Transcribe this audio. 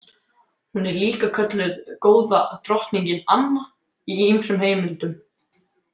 Hún er líka kölluð Góða drottningin Anna í ýmsum heimildum.